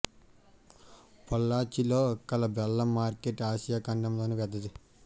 పొల్లాచి లో కల బెల్లం మార్కెట్ ఆసియా ఖండం లోనే పెద్దది